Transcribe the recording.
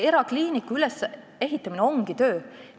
Erakliiniku ülesehitamine ongi raske töö.